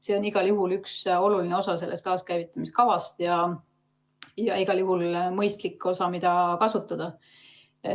See on igal juhul üks oluline osa sellest taaskäivitamise kavast ja igal juhul mõistlik osa, mida kasutada.